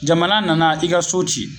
Jamana nana i ka so ci